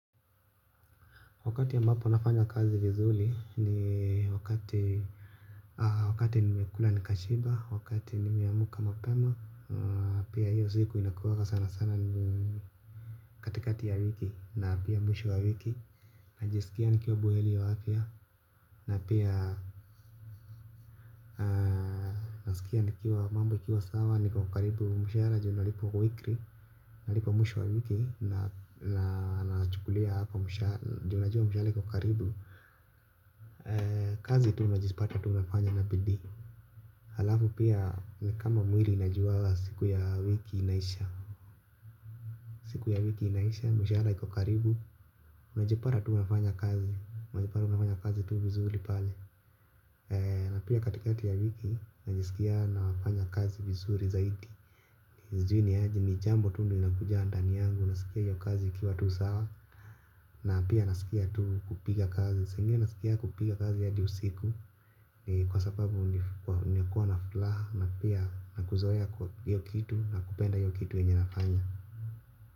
Wakati ambapo nafanya kazi vizuri ni wakati wakati nimekula nikashiba, wakati nimeamka mapema, pia hiyo siku inakuanga sana sana katikati ya wiki na pia mwisho wa wiki. Najisikia nikiwa buheri wa afya na pia nasikia nikiwa mambo ikiwa sawa niko karibu mshahara juu nalipwa weekly. Nalipwa mwisho wa wiki na nachukulia hapo mshahara juu najua mshahara iko karibu. Kazi tu unajipata tu unafanya na bidii. Halafu pia ni kama mwili inajuanga siku ya wiki inaisha. Siku ya wiki inaisha, mshahara iko karibu. Unajipata tu unafanya kazi unajipata unafanya kazi tu vizuri pale. Na pia katikati ya wiki najisikia nafanya kazi vizuri zaidi. Sijui ni aje ni jambo tu linakuja ndani yangu nasikia hiyo kazi ikiwa tu sawa. Na pia nasikia tu kupiga kazi saa ingine nasikianga kupiga kazi hadi usiku kwa sababu ni kuwa na furaha na pia na kuzoea hiyo kitu na kupenda hiyo kitu yenye nafanya.